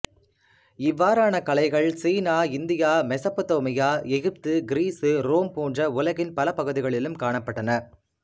இவ்வாறான கலைகள் சீனா India Mesopotamia Egypt Greece Rome போன்ற உலகின் பல பகுதிகளிலும் காணப்பட்டன